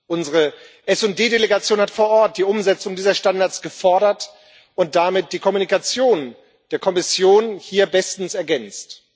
Unsere SD Delegation hat vor Ort die Umsetzung dieser Standards gefordert und damit die Mitteilung der Kommission hier bestens ergänzt.